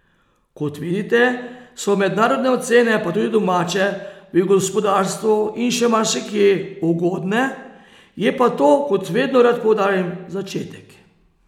Kot vidite, so mednarodne ocene, pa tudi domače, v gospodarstvu in še marsikje, ugodne, je pa to, kot vedno rad poudarim, začetek.